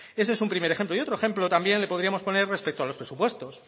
ese es un primer ejemplo y otro ejemplo también le podríamos poner respecto a los presupuestos